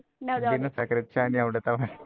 विना साखरेचा चहा नाही आवडत आम्हाला.